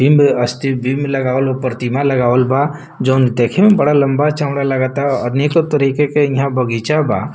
बिम्ब अस्ति बिम्ब लगावल हउ प्रतिमा लगावल बा जउन देखे में बड़ा लम्बा-चौड़ा लगता। अनेको तरीका के यहाँ बगीचा बा।